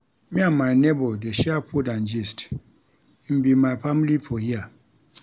Me and my nebor dey share food and gist, im be my family for here.